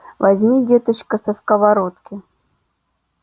возьми деточка со сковородки